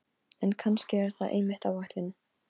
En kannski er það einmitt ætlunin.